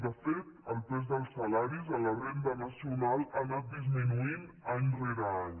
de fet el pes dels salaris en la renda nacional ha anat disminuint any rere any